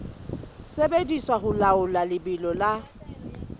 sebediswa ho laola lebelo la